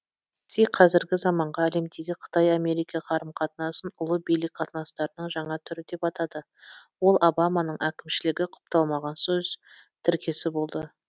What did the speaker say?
си қазіргі заманғы әлемдегі қытай америка қарым қатынасын ұлы билік қатынастарының жаңа түрі деп атады ол обаманың әкімшілігі құпталмаған сөз тіркесі болды